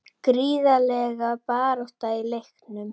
Gríðarleg barátta í leiknum